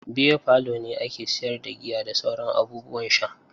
Beer parlour ne ake siyar da giya da sauran abubuwan sha.